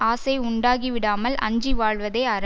ஆசை உண்டாகி விடாமல் அஞ்சி வாழ்வதே அற